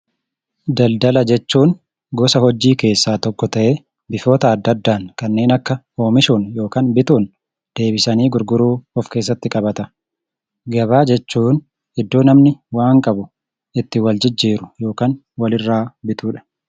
Daldala jechuun gosa hojii keessaa tokko ta'ee, bifoota adda addaan kanneen akka oomishuun yookaan bituun deebisanii gurguruu of keessatti qabata. Gabaa jechuun iddoo namni waan qabu itti waljijjiiru yookaan walirraa bitudha.